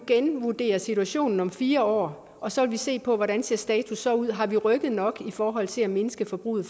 genvurdere situationen om fire år og så se på hvordan status ser ud har vi feks rykket nok i forhold til at mindske forbruget